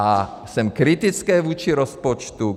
A jsem kritický vůči rozpočtu.